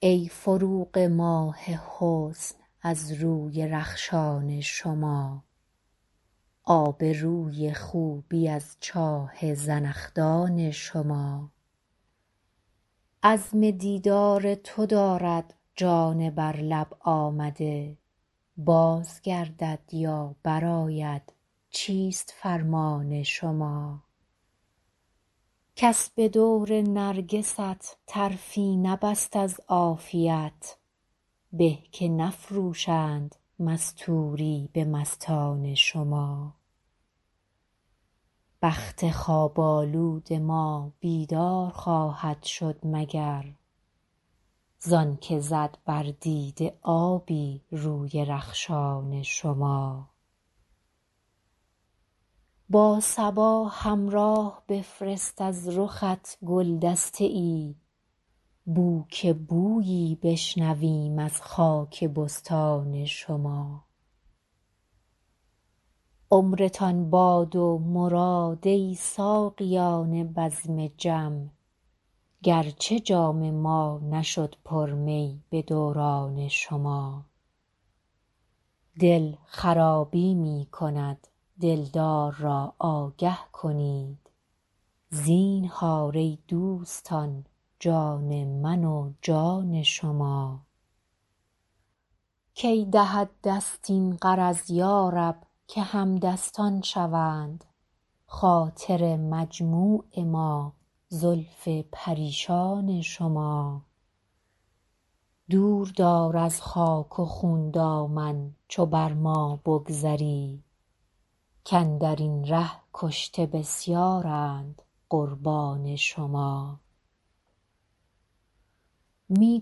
ای فروغ ماه حسن از روی رخشان شما آب روی خوبی از چاه زنخدان شما عزم دیدار تو دارد جان بر لب آمده باز گردد یا برآید چیست فرمان شما کس به دور نرگست طرفی نبست از عافیت به که نفروشند مستوری به مستان شما بخت خواب آلود ما بیدار خواهد شد مگر زان که زد بر دیده آبی روی رخشان شما با صبا همراه بفرست از رخت گل دسته ای بو که بویی بشنویم از خاک بستان شما عمرتان باد و مراد ای ساقیان بزم جم گرچه جام ما نشد پر می به دوران شما دل خرابی می کند دلدار را آگه کنید زینهار ای دوستان جان من و جان شما کی دهد دست این غرض یا رب که همدستان شوند خاطر مجموع ما زلف پریشان شما دور دار از خاک و خون دامن چو بر ما بگذری کاندر این ره کشته بسیارند قربان شما می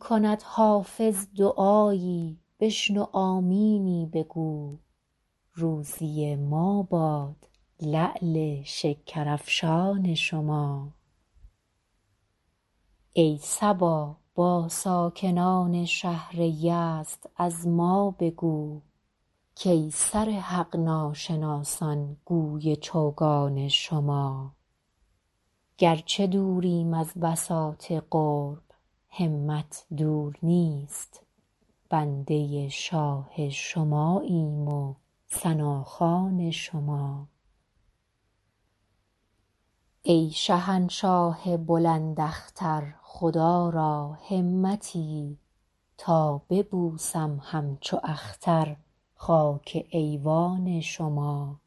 کند حافظ دعایی بشنو آمینی بگو روزی ما باد لعل شکرافشان شما ای صبا با ساکنان شهر یزد از ما بگو کای سر حق ناشناسان گوی چوگان شما گرچه دوریم از بساط قرب همت دور نیست بنده شاه شماییم و ثناخوان شما ای شهنشاه بلند اختر خدا را همتی تا ببوسم همچو اختر خاک ایوان شما